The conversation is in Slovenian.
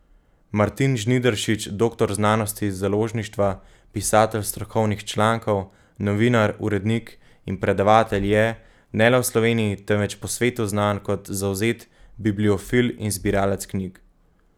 Martin Žnideršič, doktor znanosti iz založništva, pisatelj strokovnih člankov, novinar, urednik in predavatelj je, ne le v Sloveniji, temveč po svetu znan kot zavzet bibliofil in zbiralec knjig.